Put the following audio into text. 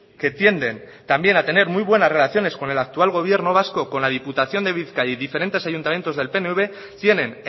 que tienden también a tener muy buenas relaciones con el actual gobierno vasco con la diputación de bizkaia y diferentes ayuntamientos del pnv tienen